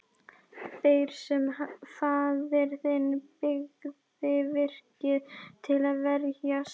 Þeir sem faðir þinn byggði virkið til að verjast.